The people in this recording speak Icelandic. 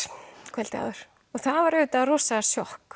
kvöldið áður og það var auðvitað rosa sjokk